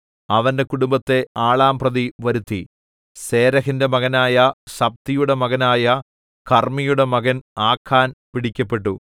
അവന്റെ കുടുംബത്തെ ആളാംപ്രതി വരുത്തി സേരെഹിന്റെ മകനായ സബ്ദിയുടെ മകനായ കർമ്മിയുടെ മകൻ ആഖാൻ പിടിക്കപ്പെട്ടു